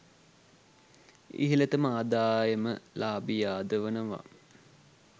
ඉහළතම ආදායම ලාභියා ද වනවා